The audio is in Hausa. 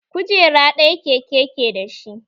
Kujera ɗaya keke ke dashi